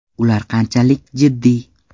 Ular qanchalik jiddiy?.